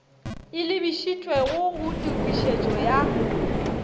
e lebišitšwego go tokišetšo ya